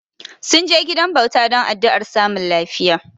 Sun je gidan bauta don addu'ar samun lafiya.